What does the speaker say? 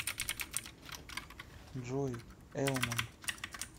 джой элман